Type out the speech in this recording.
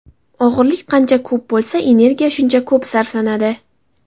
Og‘irlik qancha ko‘p bo‘lsa, energiya shuncha ko‘p sarflanadi.